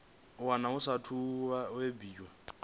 wana a saathu u bebiwaho